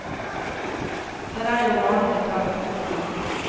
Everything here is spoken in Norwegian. Der er jo varen betalt på forhånd.